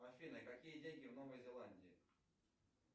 афина какие деньги в новой зеландии